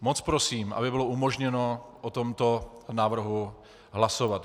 Moc prosím, aby bylo umožněno o tomto návrhu hlasovat.